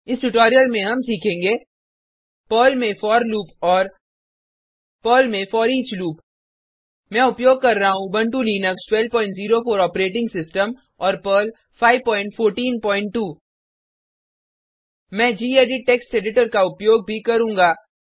इस ट्यूटोरियल में हम सीखेंगे पर्ल में फोर लूप और पर्ल में फोरिच लूप मैं उपयोग कर रहा हूँ उबंटु लिनक्स 1204 ऑपरेटिंग सिस्टम और पर्ल 5142 मैं गेडिट टेक्स्ट एडिटर का उपयोग भी करुँगा